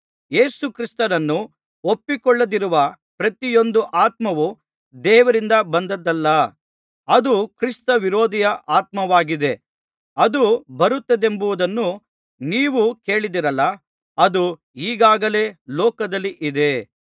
ಯೇಸುಕ್ರಿಸ್ತನನ್ನು ಒಪ್ಪಿಕೊಳ್ಳದಿರುವ ಪ್ರತಿಯೊಂದು ಆತ್ಮವು ದೇವರಿಂದ ಬಂದದ್ದಲ್ಲ ಅದು ಕ್ರಿಸ್ತವಿರೋಧಿಯ ಆತ್ಮವಾಗಿದೆ ಅದು ಬರುತ್ತದೆಂಬುದನ್ನು ನೀವು ಕೇಳಿದ್ದೀರಲ್ಲಾ ಅದು ಈಗಾಗಲೇ ಲೋಕದಲ್ಲಿ ಇದೆ